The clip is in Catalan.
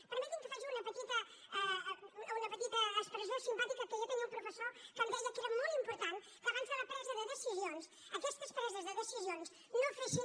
permetin que faci una petita expressió simpàtica que jo tenia un professor que em deia que era molt important que abans de la presa de decisions aquestes preses de decisions no fessin